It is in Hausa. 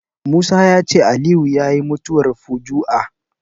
Musa ya ce Aliyu yayi mutuwar fuju'a